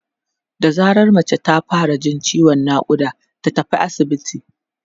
da zarar mace ta fara Jin ciwon naƙuda ta tafi asibiti